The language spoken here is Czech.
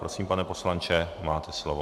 Prosím, pane poslanče, máte slovo.